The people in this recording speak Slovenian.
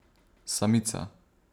Samica.